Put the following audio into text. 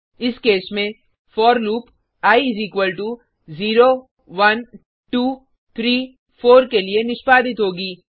इस केस में for loop I 0 1 2 3 4 के लिए निष्पादित होगी